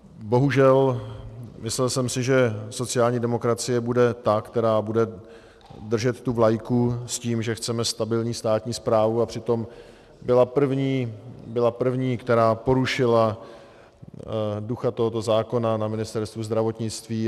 Bohužel, myslel jsem si, že sociální demokracie bude ta, která bude držet tu vlajku s tím, že chceme stabilní státní správu, a přitom byla první, která porušila ducha tohoto zákona na Ministerstvu zdravotnictví.